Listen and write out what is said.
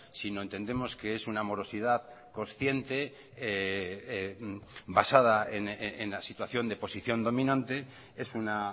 sino entendemos que es una morosidad consciente basada en la situación de posición dominante es una